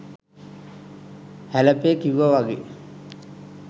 හැලපේ කිව්ව වගේ